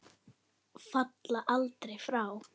Falla aldrei frá.